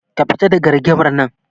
Ka fita daga rigimar nan.